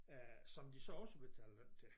Øh som de så også betaler løn til